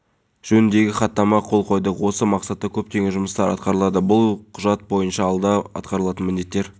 егер біз терроризм үшін ұстасақ олар террористік қылмыс жасауды жоспарлағандар құқық қорғау органдарының ғимарттарын жармақ